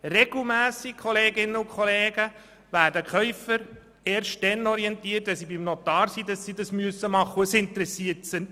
Regelmässig werden Käufer erst dann darüber orientiert, dass sie es machen müssen, wenn sie beim Notar sind.